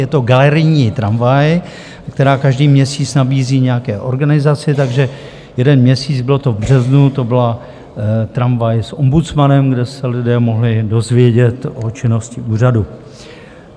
Je to galerijní tramvaj, kterou každý měsíc nabízí nějaké organizaci, takže jeden měsíc, bylo to v březnu, to byla Tramvaj s ombudsmanem, kde se lidé mohli dozvědět o činnosti úřadu.